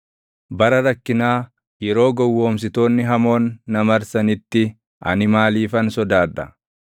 Bara rakkinaa, yeroo gowwoomsitoonni hamoon na marsanitti, ani maaliifan sodaadha?